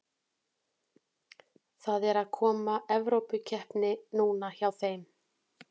Það er að koma Evrópukeppni núna hjá þeim.